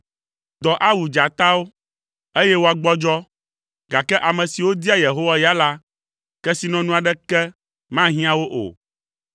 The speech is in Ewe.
Dɔ awu dzatawo, eye woagbɔdzɔ, gake ame siwo dia Yehowa ya la, kesinɔnu aɖeke mahiã wo o.